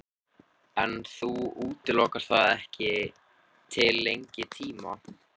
Björn: En þú útilokar það ekki til lengri tíma?